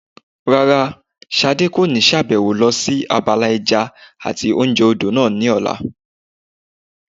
Rárá, Ṣadé kò ní sàbẹ̀wò lọ sí abala ẹja àti oúnjẹ odò náà ní ọ̀la